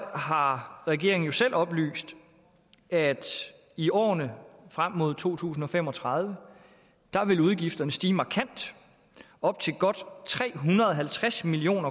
har regeringen selv oplyst at i årene frem mod to tusind og fem og tredive vil udgifterne stige markant og op til godt tre og halvtreds million